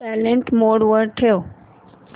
silent mode वर ठेव